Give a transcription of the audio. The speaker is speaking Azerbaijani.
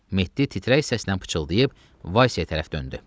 Mehdi titrək səslə pıçıldayıb Vasyaya tərəf döndü.